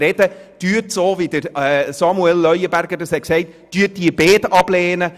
Lehnen Sie bitte beide Anträge ab, wie es Grossrat Leuenberger gesagt hat.